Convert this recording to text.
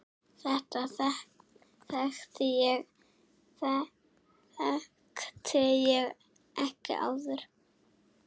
Þetta þekkti ég ekki áður.